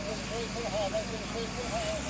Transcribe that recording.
Bəziləri deyir ki, yox, bəziləri deyir ki, yox.